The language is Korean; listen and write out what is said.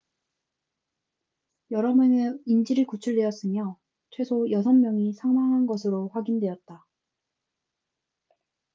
여러 명의 인질이 구출되었으며 최소 여섯 명이 사망한 것으로 확인되었다